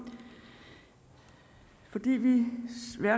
man